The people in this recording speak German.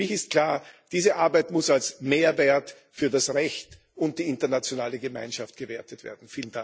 Für mich ist klar Diese Arbeit muss als Mehrwert für das Recht und die internationale Gemeinschaft gewertet werden.